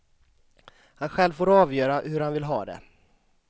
Han själv får avgöra hur han vill ha det.